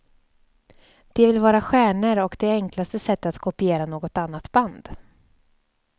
De vill vara stjärnor och det enklaste sättet är att kopiera något annat band.